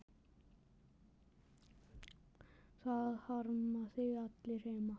Það harma þig allir heima.